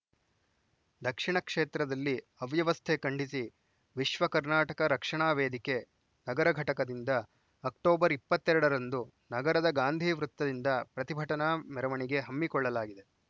ದಕ್ಷಿಣ ಕ್ಷೇತ್ರದಲ್ಲಿ ಅವ್ಯವಸ್ಥೆ ಖಂಡಿಸಿ ವಿಶ್ವ ಕರ್ನಾಟಕ ರಕ್ಷಣಾ ವೇದಿಕೆ ನಗರ ಘಟಕದಿಂದ ಅಕ್ಟೋಬರ್ ಇಪ್ಪತ್ತೆ ರಡರಂದು ನಗರದ ಗಾಂಧಿ ವೃತ್ತದಿಂದ ಪ್ರತಿಭಟನಾ ಮೆರವಣಿಗೆ ಹಮ್ಮಿಕೊಳ್ಳಲಾಗಿದೆ